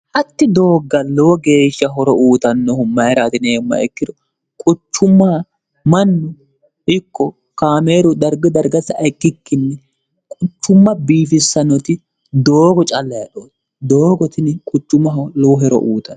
hatti doogga lowo geeshsha horo uutannohu mayira atinieemma ikkiro quchumma mannu ikko kaameeru dargi dargasa ikkikkinni quchumma biifissanoti doogo callayedhooti doogotini quchummaho lowo hero uutan